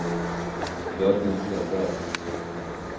Jörgen Edberg